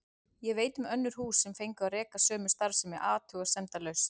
Ég veit um önnur hús sem fengu að reka sömu starfsemi athugasemdalaust.